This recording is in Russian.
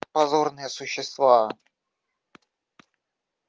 позорные существа